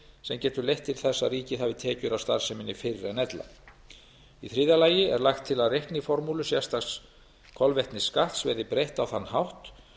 sem getur leitt til þess að ríkið hafi tekjur af starfseminni fyrr en ella þriðja lagt er til að reikniformúlu sérstaks kolvetnisskatts verði breytt á þann hátt